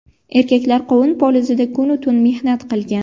Erkaklar qovun polizida kun-u tun mehnat qilgan.